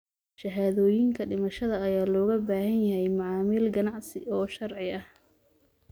Shahaadooyinka dhimashada ayaa looga baahan yahay macaamil ganacsi oo sharci ah.